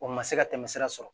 O ma se ka tɛmɛ sira sɔrɔ